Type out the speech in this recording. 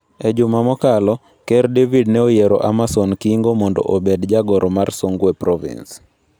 E juma mokalo Ker David ne oyier Amasom Kingo mondo obed jagoro mar Songwe Province.